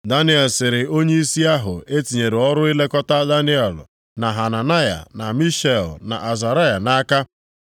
Daniel sịrị onyeisi ahụ e tinyere ọrụ ilekọta Daniel, na Hananaya, na Mishael, na Azaraya nʼaka,